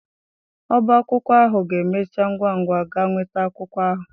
Ọbá akwụkwọ ahụ ga-emechi ngwa ngwa gaa nweta akwụkwọ ahụ.